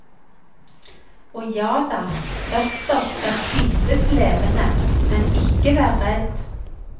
Og jada, østers skal spises levende, men ikke vær redd.